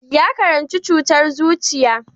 Ya karanci cutar zuciya.